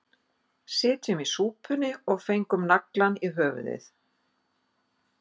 Sitjum í súpunni og fengum naglann í höfuðið